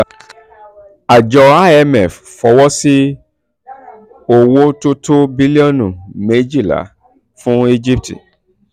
àjọ imf fọwọ́ sí um owó-owó tó tó bílíọ̀nù méjìlá um fún egypt um